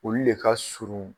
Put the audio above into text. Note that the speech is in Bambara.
Olu de ka surun